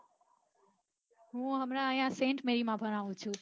હું હમણાં saint mary માં ભણાવું છું